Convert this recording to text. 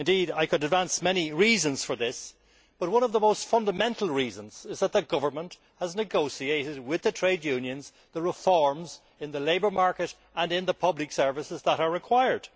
I could advance many reasons for this, but one of the most fundamental reasons is that the Government has negotiated with the trade unions the reforms in the labour market and in the public services that are required.